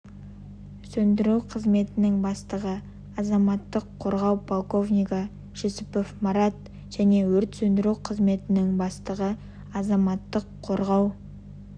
сөндіру қызметінің бастығы азаматтық қорғау полковнигі жүсіпов марат және өрт сөндіру қызметінің бастығы азаматтық қорғау